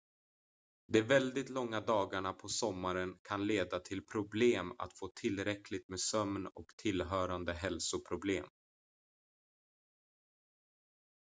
de väldigt långa dagarna på sommaren kan leda till problem att få tillräckligt med sömn och tillhörande hälsoproblem